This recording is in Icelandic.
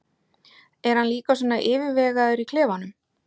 Er hann líka svona yfirvegaður í klefanum?